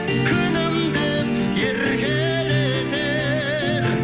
күнім деп еркелетер